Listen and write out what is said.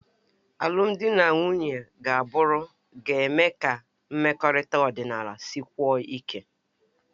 Alụmdi na nwunye agbụrụ ga-eme ka mmekọrịta ọdịnala sikwuo ike